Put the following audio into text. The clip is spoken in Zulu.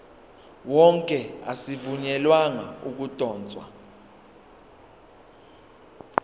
wonke azivunyelwanga ukudotshwa